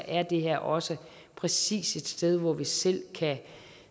er det her også præcis et sted hvor vi selv kan